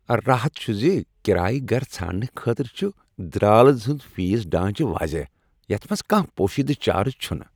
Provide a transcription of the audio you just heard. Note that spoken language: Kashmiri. راحت چُھ زِ کرایہٕ گرٕ ژھانٛڈنہٕ خٲطرٕ چُھ درالٕز ہُند فیس ڈانچہِ واضح یتھ منٛز کانٛہہ پوشیدہ چارج چھنہٕ ۔